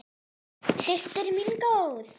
Systir mín góð.